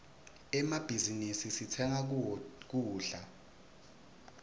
emmabhizinisi sitsenga kuwo kudla